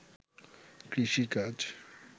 কৃষি কাজ